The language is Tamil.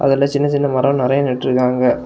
இதுல சின்ன சின்ன மரம் நறைய நட்டுருக்காங்க.